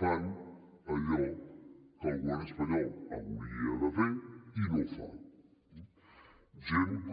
fan allò que el govern espanyol hauria de fer i no fa eh gent com